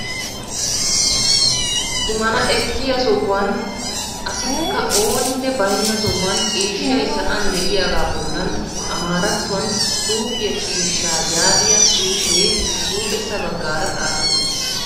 Xumana ekkiya sohuwan asikka ooninne baynna sohuwan ciishshay sa'an de'iyagaa bollan amaarattuwan suufiya ciishshaa yaagiya xuufe huuphessa baggaara xaafetti uttiis.